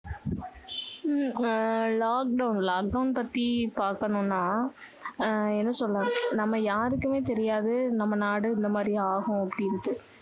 உம் ஆஹ் lockdown lockdown பத்தி பார்க்கணும்னா ஆஹ் என்ன சொல்ல நம்ம யாருக்குமே தெரியாது நம்ம நாடு இந்த மாதிரி ஆகும் அப்படின்னு